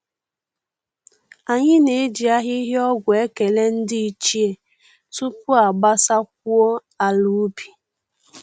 Anyị na-eji ahịhịa ọgwụ ekele ndị ichie tupu a gbasakwuo ala ubi